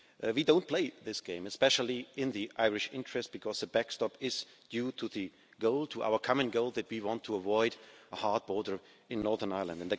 We don't play this game, especially in the Irish interest, because the backstop is due to our common goal that we want to avoid a hard border in Northern Ireland.